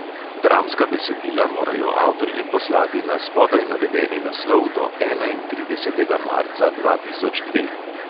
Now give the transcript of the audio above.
Dramska besedila morajo avtorji poslati na spodaj navedeni naslov do enaintridesetega marca dva tisoč dva.